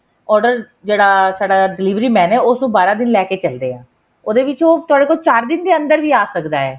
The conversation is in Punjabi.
order ਜਿਹੜਾ ਸਾਡਾ delivery man ਹੈ ਉਸ ਨੂੰ ਬਾਰਾਂ ਦਿਨ ਲੈਕੇ ਚੱਲਦੇ ਹਾਂ ਉਹਦੇ ਵਿੱਚ ਉਹ ਤੁਹਾਡੇ ਕੋਲ ਚਾਰ ਦਿਨ ਦੇ ਅੰਦਰ ਵੀ ਆ ਸਕਦਾ ਹੈ